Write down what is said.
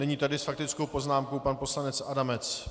Nyní tedy s faktickou poznámkou pan poslanec Adamec.